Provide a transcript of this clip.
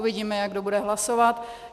Uvidíme, jak kdo bude hlasovat.